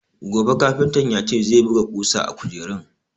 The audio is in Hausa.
Gobe kafintan ya ce zai buga ƙusa a kujerun.